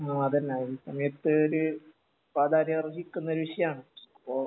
ആ അതുതന്നെ ഈ സമയത്തൊരു പ്രാധാന്യം അർഹിക്കുന്ന ഒരു വിഷയാണ് അപ്പൊ